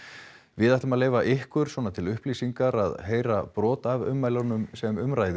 við ætlum að leyfa ykkur til upplýsingar að heyra brot af ummælunum sem um ræðir